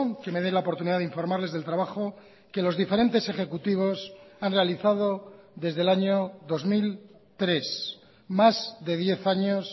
que me dé la oportunidad de informarles del trabajo que los diferentes ejecutivos han realizado desde el año dos mil tres más de diez años